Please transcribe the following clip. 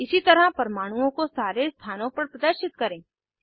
इसी तरह परमाणुओं को सारे स्थानों पर प्रदर्शित करें